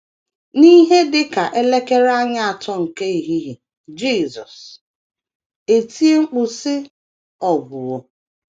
N’ihe dị ka elekere anya atọ nke ehihie, Jisọs etie mkpu, sị: “ Ọ gwụwo. ”